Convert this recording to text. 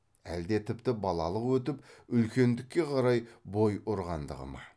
әлде тіпті балалық өтіп үлкендікке қарай бой ұрғандығы ма